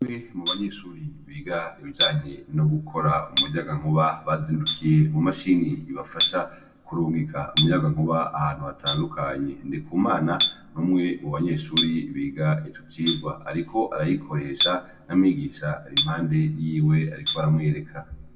Umwe mu banyeshuri biga ibijanye no gukora umuyagankuba bazindukiye umu mashini ibafasha kurunkika umuyagankuba ahantu hatandukanye ndikumana n'umwe mu banyeshuri biga icocigwa ariko arayikoresha na mwigisha ari impande yiwe ariko aramwereka